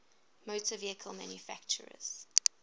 motor vehicle manufacturers